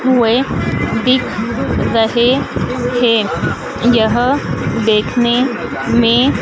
हुए दिख रहे थे यह देखने में--